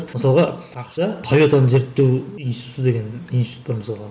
мысалға ақш та тойотаны зерттеу институты деген институт бар мысалға